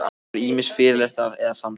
Það voru ýmist fyrirlestrar eða samtöl.